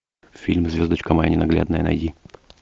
фильм звездочка моя ненаглядная найди